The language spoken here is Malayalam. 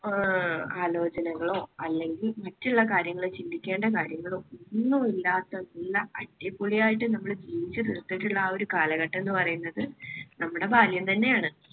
ഏർ ആലോചനകളോ അല്ലെങ്കിൽ മറ്റുള്ള കാര്യങ്ങൾ ചിന്തിക്കേണ്ട കാര്യങ്ങളോ ഒന്നുമില്ലാത്ത നല്ല അടിപൊളിയായിട്ട് നമ്മുടെ ജീവിച്ചു തീർത്തിട്ടുള്ള ആ ഒരു കാലഘട്ടം എന്ന് പറയുന്നത് നമ്മുടെ ബാല്യം തന്നെയാണ്.